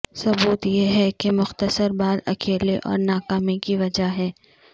ثبوت یہ ہے کہ مختصر بال اکیلے اور ناکامی کی وجہ ہے